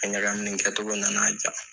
A ɲakamili kɛ cogɔ nana a diya.